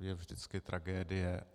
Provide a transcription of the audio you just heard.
je vždycky tragédie.